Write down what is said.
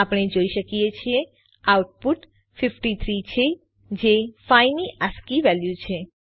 આપણે જોઈ શકીએ છીએ આઉટપુટ 53 છે જે 5 ની આસ્કી વેલ્યુ છે